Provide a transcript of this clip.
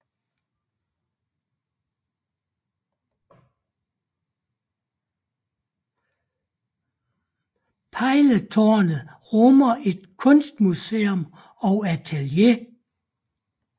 Pejletårnet rummer et kunstmuseum og atelier